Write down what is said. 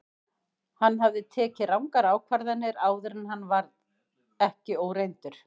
Hann hafði tekið rangar ákvarðanir áður en hann var ekki óreyndur.